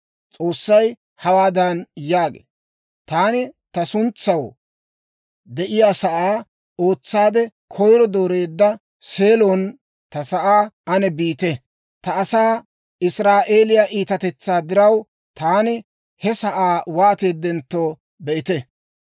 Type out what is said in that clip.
S'oossay hawaadan yaagee; «Taani ta suntsaw de'iyaasaa ootsaade koyiro dooreedda, Seelon ta sa'aa ane biite. Ta asaa Israa'eeliyaa iitatetsaa diraw, taani he sa'aa waateedentto be'ite.